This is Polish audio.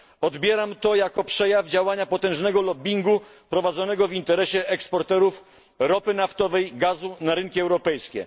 Odbieram to jako przejaw działania potężnego lobbyingu prowadzonego w interesie eksporterów ropy naftowej i gazu na rynki europejskie.